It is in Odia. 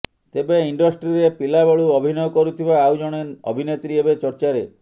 ତେବେ ଇଣ୍ଡଷ୍ଟ୍ରିରେ ପିଲାବେଳୁ ଅଭିନୟ କରୁଥିବା ଆଉ ଜଣେ ଅଭିନେତ୍ରୀ ଏବେ ଚର୍ଚ୍ଚାରେ